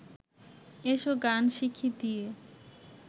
এসো গান শিখি দিয়ে